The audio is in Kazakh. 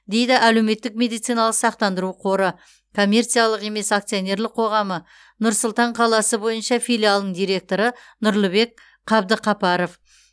дейді әлеуметтік медициналық сақтандыру қоры коммерциялық емес акционерлық қоғамы нұр сұлтан қаласы бойынша филиалының директоры нұрлыбек қабдықапаров